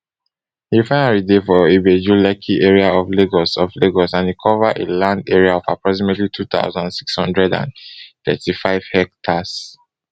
di refinery dey for ibejulekki area of lagos of lagos and e cover a land area of approximately two thousand, six hundred and thirty-five hectares